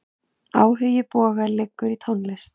Áhugi Boga liggur í tónlist.